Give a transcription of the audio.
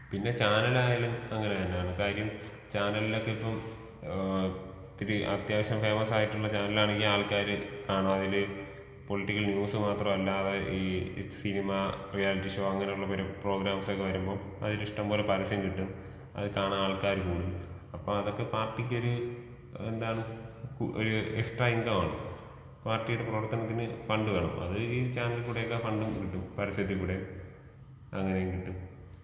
പിന്നെ ചാനൽ ആയാലും അങ്ങനെന്നാണ്. കാര്യം ചാനലിനൊക്കെ ഇപ്പോ ഏഹ് ഇത്തിരി അത്യാവശ്യം ഫെയ്മസ് ആയിട്ടുള്ള ചാനലാണെങ്കിൽ ആൾക്കാര് കാണും അതിൽ പൊളിറ്റിക്കൽ ന്യൂസ് മാത്രമല്ലാതെ ഈ സിനിമ റിയാലിറ്റി ഷോ അങ്ങനെയുള്ള പ്രോഗ്രാംസൊക്കെ വരുമ്പോ അതിൽ ഇഷ്ടംപോലെ പരസ്യം കിട്ടും. അത് കാണാൻ ആൾക്കാർ കൂടും. അപ്പൊ അതൊക്കെ പാർട്ടിക്ക് ഒരു എന്താണ് ഒരു എക്സ്ട്രാ ഇങ്കമാണ്. പാർട്ടിയുടെ പ്രവർത്തനത്തിന് ഫണ്ട് വേണം. അത് ഈ ചാനൽ കൂടെയൊക്കെ ഫണ്ടും കിട്ടും. പരസ്യത്തികൂടെ. അങ്ങനെയൊക്കെ കിട്ടും.